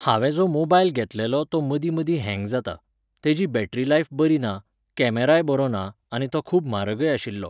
हांवें जो मोबायल घेतलेलो तो मदीं मदीं hang जाता. तेजी battery life बरी ना, कॅमराय बरो ना आनी तो खूब म्हारगय आशिल्लो